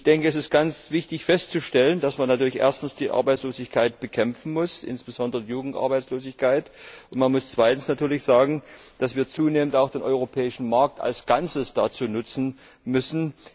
Ich denke, dass es ganz wichtig ist, festzustellen, dass man natürlich erstens die Arbeitslosigkeit bekämpfen muss, insbesondere die Jugendarbeitslosigkeit, und man muss zweitens natürlich sagen, dass wir zunehmend auch den europäischen Markt als Ganzes dazu nutzen müssen.